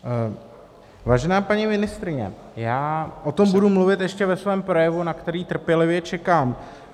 Vážená paní ministryně, já o tom budu mluvit ještě ve svém projevu, na který trpělivě čekám.